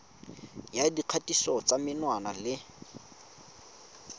ya dikgatiso tsa menwana le